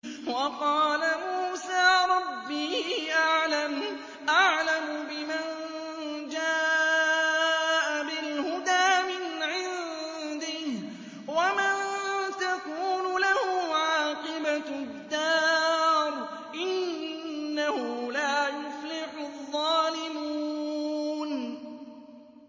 وَقَالَ مُوسَىٰ رَبِّي أَعْلَمُ بِمَن جَاءَ بِالْهُدَىٰ مِنْ عِندِهِ وَمَن تَكُونُ لَهُ عَاقِبَةُ الدَّارِ ۖ إِنَّهُ لَا يُفْلِحُ الظَّالِمُونَ